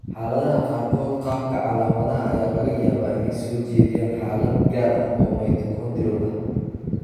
Xaaladaha qaarkood, qaabka calaamadaha ayaa laga yaabaa inay soo jeediyaan xaalad gaar ah oo mitochondrial ah.